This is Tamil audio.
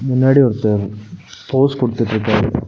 முன்னாடி ஒருத்தர் போஸ் கொடுத்துட்டு இருக்காரு.